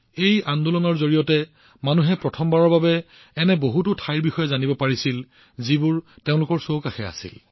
এই আন্দোলনৰ জৰিয়তে প্ৰথমবাৰৰ বাবে মানুহে এনে ঠাইবোৰৰ বিষয়ে জানিব পাৰিছিল যিবোৰ কেৱল তেওঁলোকৰ চুবুৰীয়া অঞ্চলত আছিল